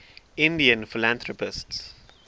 indian philanthropists